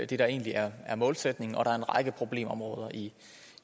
der egentlig er er målsætningen og der er en række problemområder i